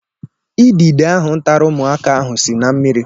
Idide ahụ tara ụmụaka ahụ si na mmiri